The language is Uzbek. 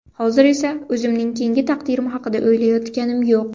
Hozir esa o‘zimning keyingi taqdirim haqida o‘ylayotganim yo‘q.